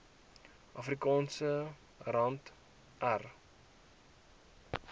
afrikaanse rand r